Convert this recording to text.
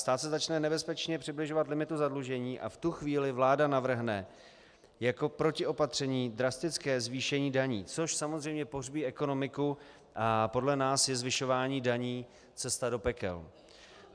Stát se začne nebezpečně přibližovat limitu zadlužení a v tu chvíli vláda navrhne jako protiopatření drastické zvýšení daní, což samozřejmě pohřbí ekonomiku, a podle nás je zvyšování daní cesta do pekel.